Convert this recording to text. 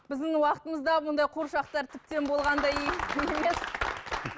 біздің уақытымызда бұндай қуыршақтар тіптен болған да емес